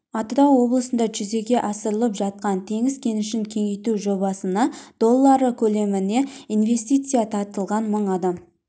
атырау облысында жүзеге асырылып жатқан теңіз кенішін кеңейту жобасына доллары көлемінде инвестиция тартылған мың адам